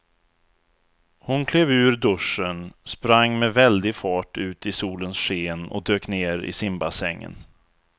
Hon klev ur duschen, sprang med väldig fart ut i solens sken och dök ner i simbassängen.